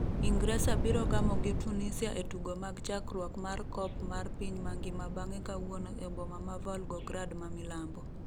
Ingresa biro gamo gi Tunisia e tugo mag chakruok mar Kop mar piny mangima bang'e kawuono e boma ma Volgograd ma milambo.